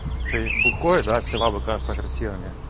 ты бухой да все бабы кажутся красивыми